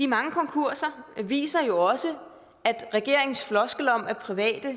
mange konkurser viser jo også at regeringens floskel om at private